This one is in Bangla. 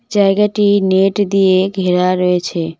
জায়গাটি নেট দিয়ে ঘেরা রয়েছে।